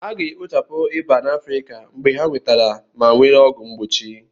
A ga-ekpochapụ ịba na Afrika mgbe ha nwetara ma were ọgwụ mgbochi